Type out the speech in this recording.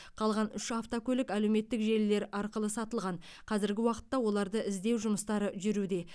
қалған үш автокөлік әлеуметтік желілер арқылы сатылған қазіргі уақытта оларды іздеу жұмыстары жүруде